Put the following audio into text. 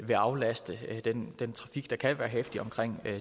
vil aflaste den den trafik der kan være heftig omkring